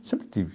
Sempre tive.